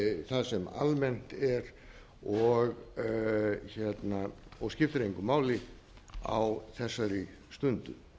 það sem almennt er og skiptir engu máli á þessari stundu